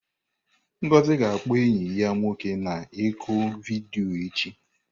Ngozi ga-akpọ enyi ya nwoke na ọ́kụ vidiyo echi.